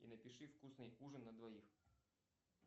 и напиши вкусный ужин на двоих